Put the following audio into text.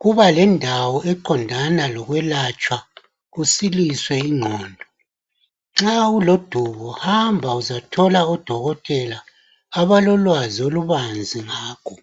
kubalendawo eqondana lokwelatshwa kusiliswe ingqondo. Nxa ulodubo hamba uzathola odokotela abalolwazi olubanzi ngakho.